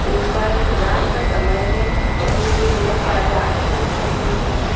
ऊपर रात का समय है नीचे बहुत सारे आदमी दिखाई दे रहे हैं।